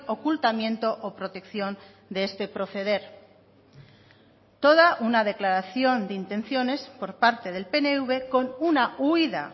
ocultamiento o protección de este proceder toda una declaración de intenciones por parte del pnv con una huida